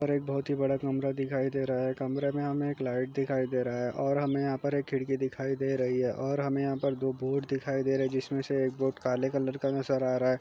यहाँ पर एक बहुत ही बड़ा कमरा दिखाई दे रहा है कमरे में हमे एक लाइट दिखाई दे रहा है और हमे यहाँ पर एक खिड़की दिखाई दे रही है और हमे यहाँ पर दो बोर्ड दिखाई दे रहा है जिसमें से एक बोर्ड काले कलर का नज़र आ रहा है।